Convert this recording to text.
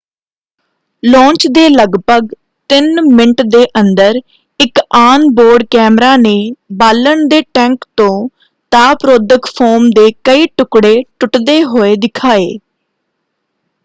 Launch ਦੇ ਲਗਭਗ 3 minute ਦੇ ਅੰਦਰ ਇੱਕ ਆਨ-ਬੋਰਡ ਕੈਮਰਾ ਨੇ ਬਾਲਣ ਦੇ ਟੈਂਕ ਤੋਂ ਤਾਪ ਰੋਧਕ ਫੋਮ ਦੇ ਕਈ ਟੁਕੜੇ ਟੁੱਟਦੇ ਹੋਏ ਦਿਖਾਏ।